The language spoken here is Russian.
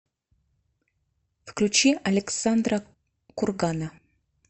включи александра кургана